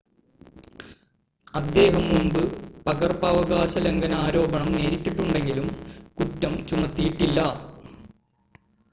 അദ്ദേഹം മുമ്പ് പകർപ്പവകാശ ലംഘന ആരോപണം നേരിട്ടിട്ടുണ്ടെങ്കിലും കുറ്റം ചുമത്തിയിട്ടില്ല